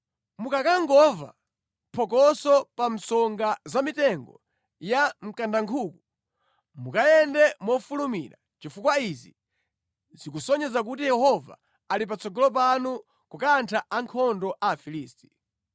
Mukakangomva phokoso pa msonga za mitengo ya mkandankhuku, mukayende mofulumira, chifukwa izi zikasonyeza kuti Yehova ali patsogolo panu kukantha ankhondo a Afilisti.”